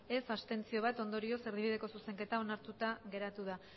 abstentzioak bat ondorioz erdibideko zuzenketa onartuta geratu da